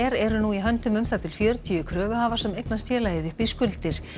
eru nú í höndum um það bil fjörutíu kröfuhafa sem eignast félagið upp í skuldir